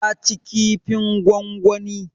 Ta ci kifin gwangwani.